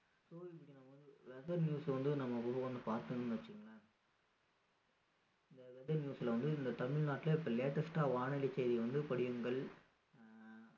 so இப்படி நம்ம weather news வந்து நம்ம வந்து பார்த்தோம்னு வச்சிக்கோங்களேன் இந்த weather news ல வந்து இந்த தமிழ்நாட்டுல இப்போ latest டா வானிலை செய்தி வந்து படியுங்கள் ஆஹ்